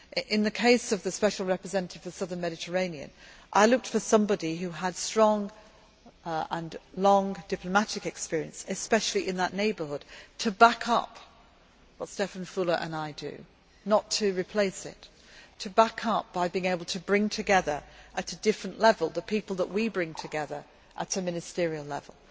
In the case of the Special Representative for the Southern Mediterranean, I looked for somebody who had strong and long diplomatic experience, especially in that neighbourhood, to back up what Stefan Füle and I do not to replace it but to back it up by being able to bring together at a different level the type of people we bring together at a ministerial level.